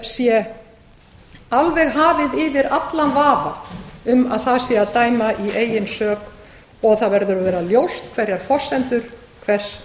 sé alveg hafið yfir allan vafa um að það sé að dæma í eigin sök og það verður að vera ljóst hverjar forsendur hvers